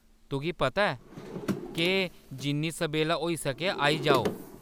तुगी पता ऐ केह्‌‌, जिन्नी सबेल्ला होई सकै आई जाओ।